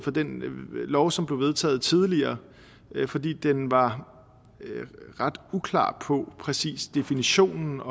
lov som blev vedtaget tidligere fordi den var ret uklar på præcis definitionen